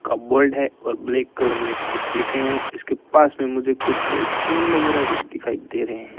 Covered है और black colour में कुछ लिखे हैं इसके पास में मुझे कुछ एक केन वगैरा भी दिखाई दे रहे हैं।